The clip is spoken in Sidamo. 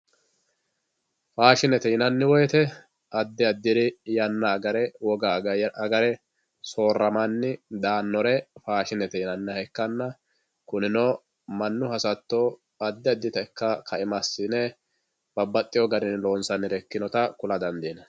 Faashinete yinani wosooramani daanore faashinete yinani ikana yite yana yana agare wogga agare kurino mani hasatto babaxitinota ikitana tene faashinete yinani